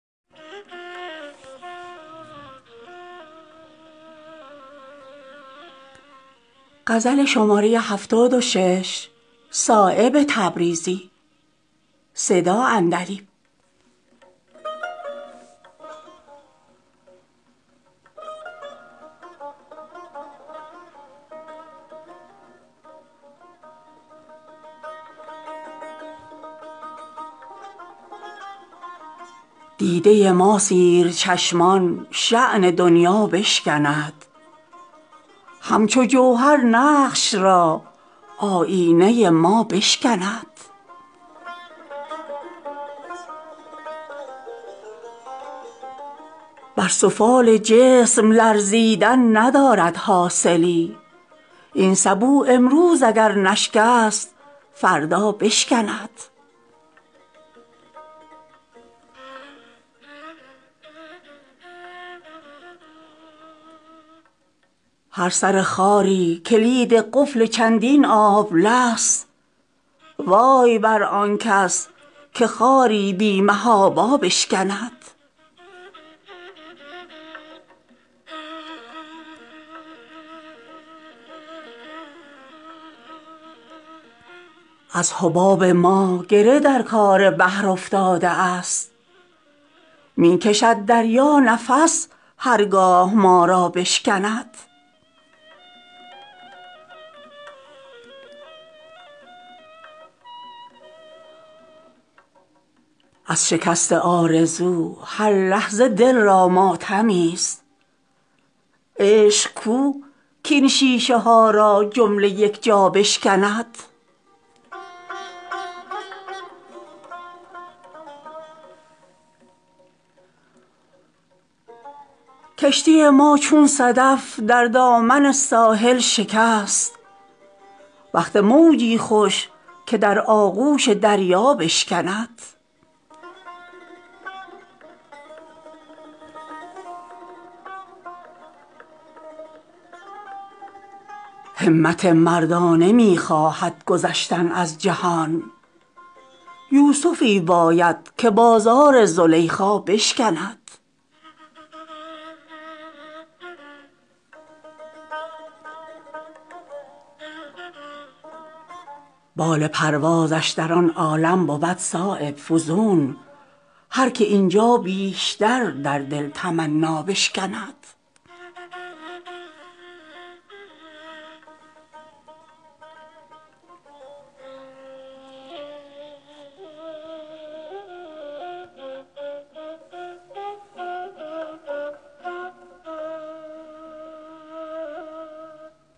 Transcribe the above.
همت مردانه ما از می حمرا گذشت کشتی ما با دهان خشک ازین دریا گذشت تنگنای جسم بر ما زندگی را تلخ داشت در فشار قبر ایام حیات ما گذشت در کهنسالی جوان شد هر که ترک می نکرد در جوانی پیر شد هر کس که از صهبا گذشت گر نمی شد خارخار عشق دامنگیر ما می توانستیم آسان از سر دنیا گذشت تا گسست از رشته مریم ز چشم دوربین ز اطلس گردون مجرد سوزن عیسی گذشت قالب فرسودگان فانوس شمع طور شد تا به خاک کشتگان آن آتشین سیما گذشت بس که دامنگیر افتاده است خاک کوی عشق سیل بی زنهار نتواند ازین صحرا گذشت در هلاک کوهکن شمشیر زهرآلود شد از دهان تیشه هر زخمی که بر خارا گذشت روزی دل گشت از زلف دراز او مرا آنچه بر بیمار از طول شب یلدا گذشت ترک دستار تعین کام بخش عالمی است محفلی را کرد رنگین تا ز سر مینا گذشت گرچه پایش تا به زانو در گل است از بار دل سرو نتواند ز سیر عالم بالا گذشت در زمان موجه اشک فلک پیمای من ابر صایب از سر دریوزه دریا گذشت